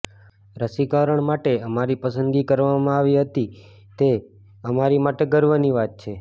રસીકરણ માટે અમારી પસંદગી કરવામા આવી તે અમારી માટે ગર્વની વાત છે